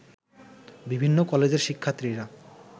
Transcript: বিভিন্ন কলেজের শিক্ষার্থীরা